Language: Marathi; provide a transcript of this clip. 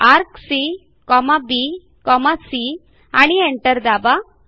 ArccBC आणि एंटर दाबा